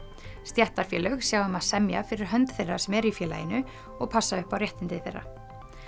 stéttarfélög sjá um að semja fyrir hönd þeirra sem eru í félaginu og passa upp á réttindi þeirra